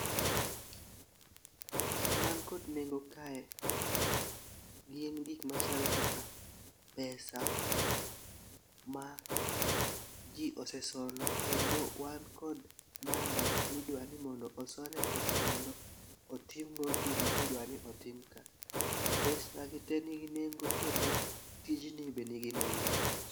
Gik man kod nengo kae gin gik machalo kaka pesa ma jii osesolo kendo wan kod namba midwani mondo oso ne pesa mondo otim go gima idwani otim ka. Pesa gite nigi nengo kendo tijni be nigi nengo.